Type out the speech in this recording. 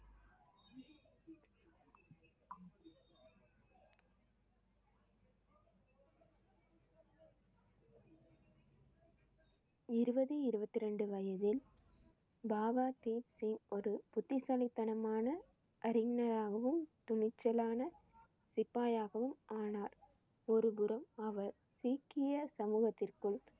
இருபது, இருபத்தி ரெண்டு வயதில் பாபா தீப் சிங் ஒரு புத்திசாலித்தனமான அறிஞராகவும், துணிச்சலான சிப்பாயாகவும் ஆனார். ஒருபுறம் அவர் சீக்கிய சமூகத்திற்குள்